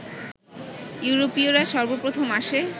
ইউরোপীয়রা সর্বপ্রথম আসে